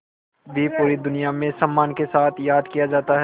भी पूरी दुनिया में सम्मान के साथ याद किया जाता है